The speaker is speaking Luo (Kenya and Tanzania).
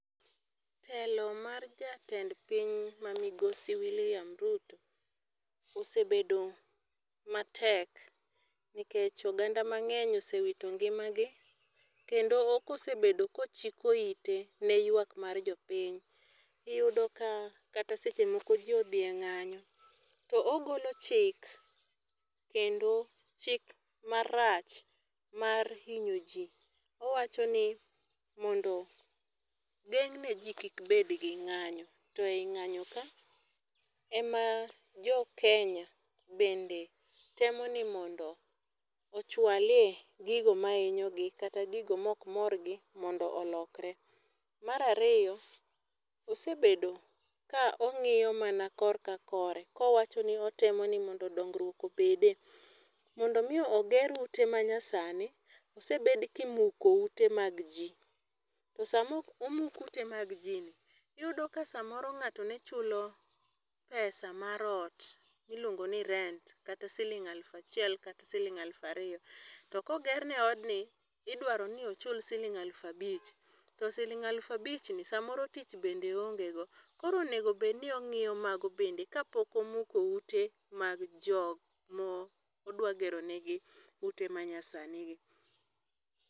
Telo mar jatend piny ma Migosi William Ruto, osebedo matek. Nikech oganda mangény osewito ngimagi. Kendo ok osebedo ka ochiko ite ne jok ma ywak mar jopiny. Iyudo ka kata seche moko ji odhi e ngányo, to ogolo chik kendo chik marach mar hinyo ji. Owacho ni mondo geng'ne ji kik bed gi ng'ányo, to e ngányo ka ema jo Kenya bende temo ni mondo ochwale gigo mahinyogi, kata gigo ma ok morgi mondo olokore. Mar ariyo, osebedo ka ongíyo mana kor ka kore, ka owachoni otemo ni mondo dongruok obede. Mondo omi oger ute ma nyasani, osebed kimuko ute mag ji, To sama omuk ute mag ji ni, iyudo ka samoro ngáto ne chulo pesa, mar ot miluongo ni rent, kata siling aluf achiel, kata siling aluf ariyo. To ka ogerne odni, idwaro ni ochul siling aluf abich. To siling aluf abichni, samoro tich bende oongego. Koro onego bed ni ongíyo mago bende. ka pok omuko ute mag jok ma odwaro gero negi ute ma nyasani gi.